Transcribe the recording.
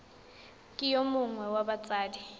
ke yo mongwe wa batsadi